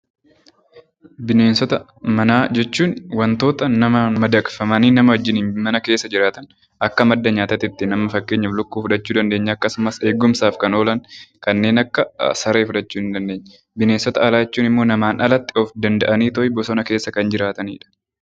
Bineensota manaa jechuun wantoota namaan madaqfamanii namaa wajjiniin mana keessa jiraatan, akka madda nyaati tti fakkeenyaaf Lukkuu fudhachuu dandeenya. Akkasumas eegumsaaf kan oolan kanneen akka Saree fufhachuu dandeenya. Bineensota alaa jechuun immoo namaan alatti of danda'aniitoo bosona keessa kan jiraatani dha.